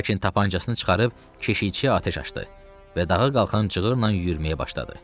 Lakin tapançasını çıxarıb keşiyə atəş açdı və dağa qalxan cığılla yürüməyə başladı.